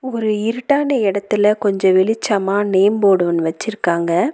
ஒரு இருட்டான இடத்துல கொஞ்ச வெளிச்சமா நேம் போர்டு ஒன்னு வச்சிருக்காங்க.